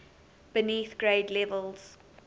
beneath grade levels